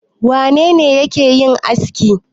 Wane ne yake yin aski?